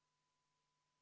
V a h e a e g